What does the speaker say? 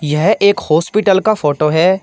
यह एक हॉस्पिटल का फोटो है।